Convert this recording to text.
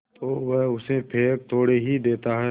तो वह उसे फेंक थोड़े ही देता है